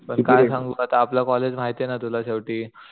पण काय सांगू आपलं कॉलेज माहितेय ना तुला शेवटी